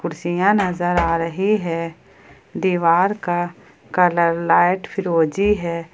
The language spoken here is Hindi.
सियां नजर आ रही है दीवार का कलर लाइट फिरोजी है।